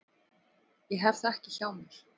Ég hef það ekki hjá mér.